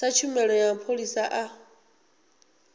sa tshumelo ya mapholisa a